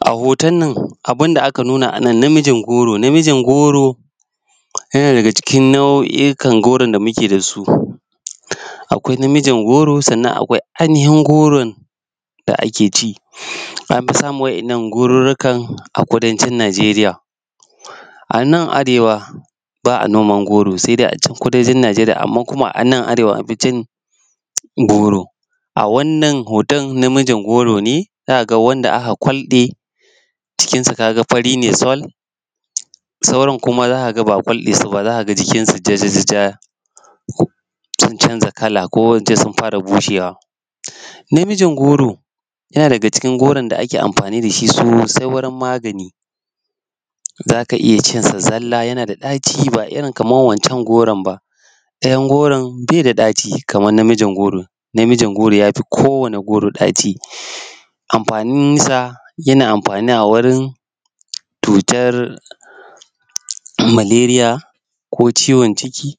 A hoton nan abun da aka nuna a nan namijin goro yana daga cikin nau’ikan goron da muke da su, akwai na mijin goro sannan akwai ainihin goron da ake ci anfi samun waɗannan gorukan a kudancin Najeriya a nan arewa ba a noman goro se dai a kudancin Najeriya amma kuma a nan arewa an fi cin goro a wannan hoton na mijin goro ne wanda aka walbe cikin sa ga ka fari ne sol, sauran kuma za ka ga ba a kwalbe su, ba za ka ga jikin su jajaja sun canza kala ko in ce sun fara bushewa. Na mijin goro yana daga cikin goron da ake amfani da shi sosai wajen magani, za ka iya cin sa zalla yana da ɗaci ba irin kaman wancan goron ba ɗayan goron be da ɗaci kaman na mijin goron. Na mijin goro ya fi kowane goro ɗaci anfanin sa yana anfani a wurin cutar maleriya ko ciwon ciki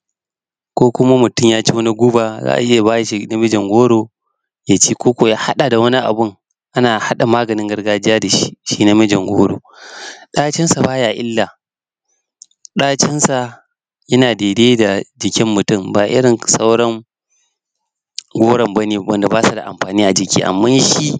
ko ku mutum ya ci wani guba za a iya a ba shi na mijin goro yaci koko ya haɗa da wani abun ana haɗa maganin gargajiya da shi. Shi na mijin goron ɗacin sa baya illa ɗacinsa yana daidai da jikin mutum ba irin sauran goron ba ne wanda ba su da amfani a jiki amman shi.